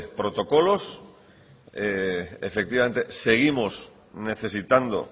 protocolos efectivamente seguimos necesitando